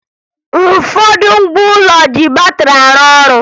Ụfọdụ ngwa ụlọ ji batịrị arụ ọrụ